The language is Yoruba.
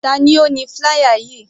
Tani ó ni flier yìí?